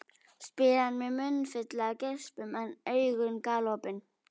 spyr hann með munnfylli af geispum en augun galopin.